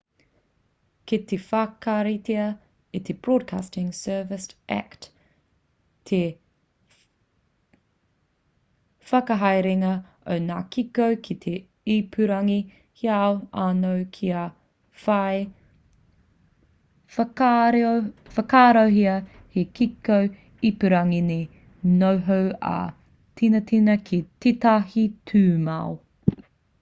kei te whakaritea e te broadcasting services act te whakahaerenga o ngā kiko ki te ipurangi heoi anō kia whai whakaarohia hei kiko ipurangi me noho ā-tinana ki tētahi tūmau